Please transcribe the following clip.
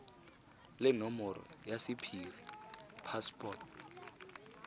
le nomoro ya sephiri password